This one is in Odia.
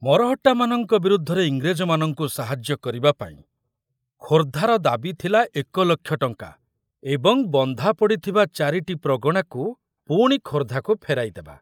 ମରହଟ୍ଟାମାନଙ୍କ ବିରୁଦ୍ଧରେ ଇଂରେଜମାନଙ୍କୁ ସାହାଯ୍ୟ କରିବାପାଇଁ ଖୋର୍ଦ୍ଧାର ଦାବୀ ଥିଲା ଏକ ଲକ୍ଷ ଟଙ୍କା ଏବଂ ବନ୍ଧା ପଡ଼ିଥିବା ଚାରିଟି ପ୍ରଗଣାକୁ ପୁଣି ଖୋର୍ଦ୍ଧାକୁ ଫେରାଇ ଦେବା।